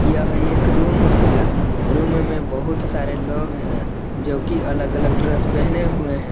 यह एक रूम है रूम में बहुत सारे लोग हैं जो की अलग अलग ड्रेस पहने हुए हैं।